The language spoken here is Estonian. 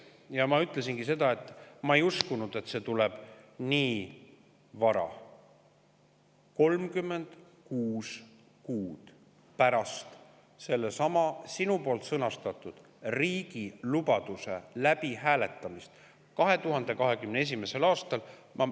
Ja ma ütlesin, et ma ei uskunud, et see tuleb nii vara, 36 kuud pärast sellesama sinu sõnastatud riigi lubaduse üle hääletamist 2021. aastal.